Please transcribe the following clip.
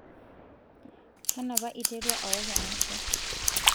kanu apa iterua owok enaisho?